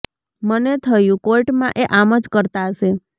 મને થયું કોર્ટમાં એ આમ જ કરતા હશે